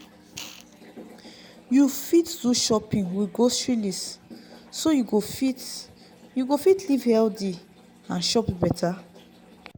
you fit do shopping with grocery list so you go fit you go fit live healthy and chop better